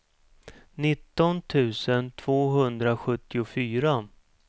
nitton tusen tvåhundrasjuttiofyra